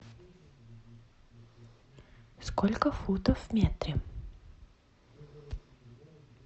сколько футов в метре